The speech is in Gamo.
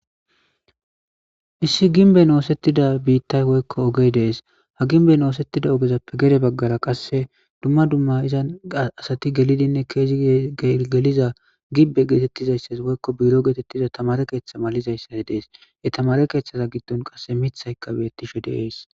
issi ginben oosettida biittay woykko ogey dees ha ginben oosettida ogezappe gere baggara qasse dumma dumma izan asati gelidinne keezi geliza gibbe geetettizayssas woykko biro geetettiza tamare keeththa malizayssa dees ye tamare keeththaza giddon qasse mithayka beettishe deeys